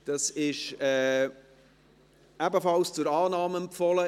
Es ist ebenfalls zur Annahme empfohlen.